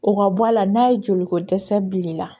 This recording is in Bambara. O ka bɔ a la n'a ye joliko dɛsɛ bilen na